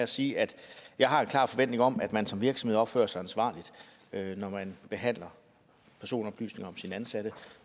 sige at jeg har en klar forventning om at man som virksomhed opfører sig ansvarligt når man behandler personoplysninger om sine ansatte